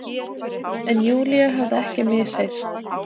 En Júlíu hafði ekki misheyrst.